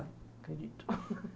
Acredito.